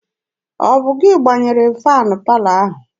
Ọ bụ gị gbanyere faanị palọ ahụ?